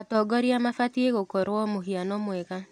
Atongoria mabatiĩ gũkorwo mũhiano mwega.